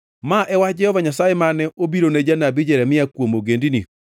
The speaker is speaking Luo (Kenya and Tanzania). Ma e wach Jehova Nyasaye mane obirone janabi Jeremia kuom ogendini: